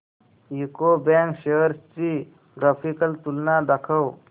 UCO bank shares ची graphical तुलना दाखव